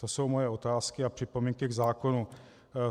To jsou moje otázky a připomínky k zákonu.